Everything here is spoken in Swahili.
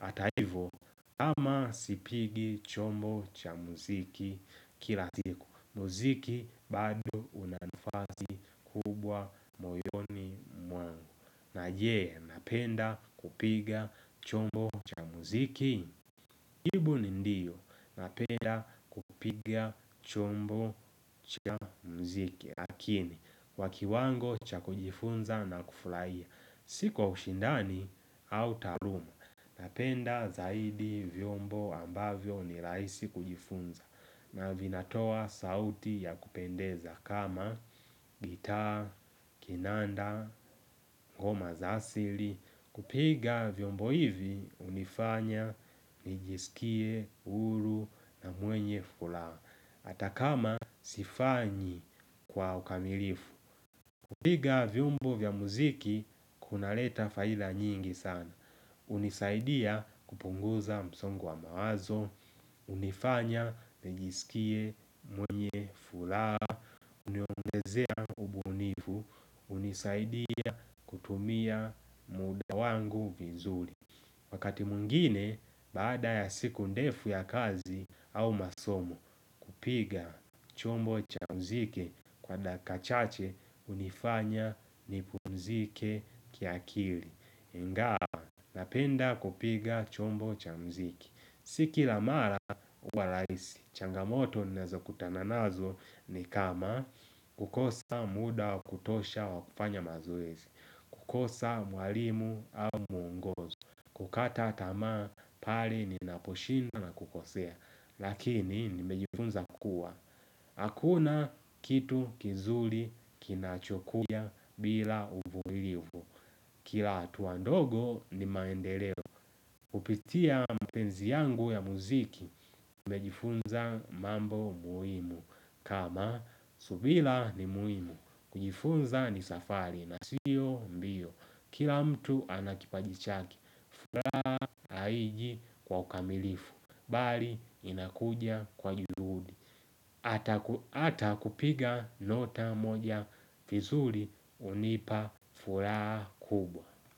Hata hivo kama sipigi chombo cha muziki kila siku muziki bado una nafasi kubwa moyoni mwangu. Na je, napenda kupiga chombo muziki jibu ni ndiyo. Napenda kupiga chombo cha muziki. Lakini, kwa kiwango cha kujifunza na kuflaia. Si kwa ushindani au taaluma. Napenda zaidi vyombo ambavyo ni raisi kujifunza. Na vinatoa sauti ya kupendeza kama gita, kinanda, ngoma za asili. Kupiga vyombo hivi, unifanya, nijisikie, huru na mwenye fulaha. Ata kama sifanyi kwa ukamilifu kupiga vyombo vya muziki, kuna leta faidha nyingi sana. Unisaidia kupunguza msongo wa mawazo. Unifanya, nijisikie, mwenye, fulaha. Uniongezea, unisaidia, kutumia muda wangu vizuri. Wakati mwingine, baada ya siku ndefu ya kazi au masomo, kupiga chombo cha mziki kwa dakika chache unifanya nipumziki kiakili. Ngawa, napenda kupiga chombo cha mziki. Si kila mara huwa raisi, changamoto naeza kutana nazo ni kama kukosa muda wa kutosha wa kufanya mazoezi. Kukosa mwalimu au kukata tamaa pale ninaposhindwa na kukosea. Lakini nimejifunza kua hakuna kitu kizuli kinachokuja bila uvumilivu. Kila hatua ndogo ni maendeleo. Kupitia mapenzi yangu ya muziki nimejifunza mambo muhimu. Kama subila ni muhimu. Kujifunza ni safari na siyo mbio. Kila mtu ana kipaji chake. Furaha haiji kwa ukamilifu. Bali inakuja kwa juhudi. Hata kupiga nota moja fizuli unipa. Furaha kubwa.